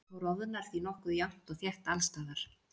Plútó roðnar því nokkuð jafnt og þétt alls staðar.